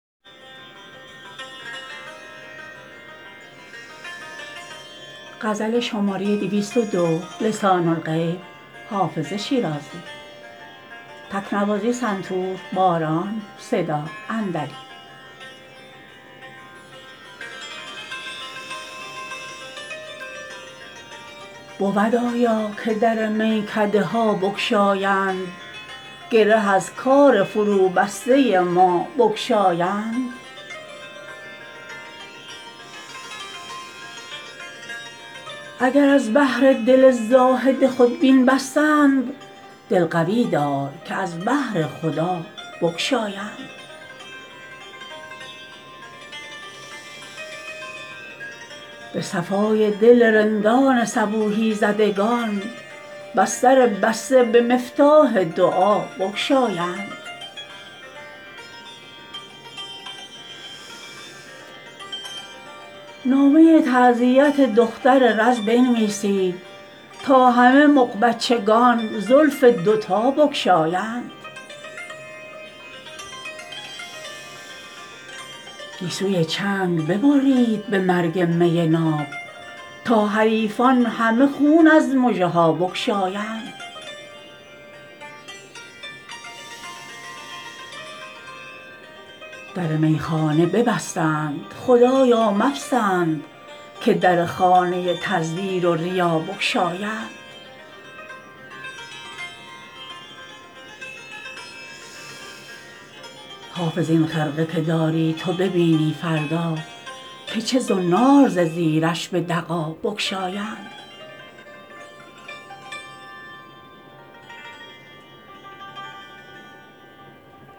بود آیا که در میکده ها بگشایند گره از کار فروبسته ما بگشایند اگر از بهر دل زاهد خودبین بستند دل قوی دار که از بهر خدا بگشایند به صفای دل رندان صبوحی زدگان بس در بسته به مفتاح دعا بگشایند نامه تعزیت دختر رز بنویسید تا همه مغبچگان زلف دوتا بگشایند گیسوی چنگ ببرید به مرگ می ناب تا حریفان همه خون از مژه ها بگشایند در میخانه ببستند خدایا مپسند که در خانه تزویر و ریا بگشایند حافظ این خرقه که داری تو ببینی فردا که چه زنار ز زیرش به دغا بگشایند